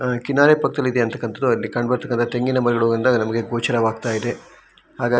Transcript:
ಅಹ್ ಕಿನಾರೆ ಪಕ್ಕದಲ್ಲಿರ್ತಕ್ಕಂತದ್ದು ಅಲ್ಲಿ ಕಂಡ ಬರ್ತಾ ಇರೋ ತೆಂಗಿನ ಮರಗಳಿಂದ ಗೋಚರವ್ಗತಿದೆ ಹಾಗಾಗಿ --